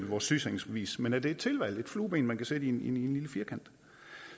vores sygesikringsbevis men at det er et tilvalg et flueben man kan sætte i en lille firkant